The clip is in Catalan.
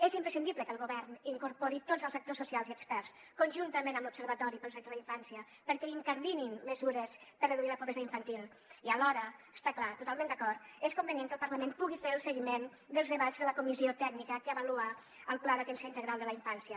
és imprescindible que el govern incorpori tots els actors socials i experts conjuntament amb l’observatori pels drets de la infància perquè incardinin mesures per a reduir la pobresa infantil i alhora està clar totalment d’acord és convenient que el parlament pugui fer el seguiment dels debats de la comissió tècnica que avalua el pla d’atenció integral de la infància